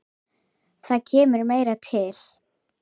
Þess sjást þó engin merki.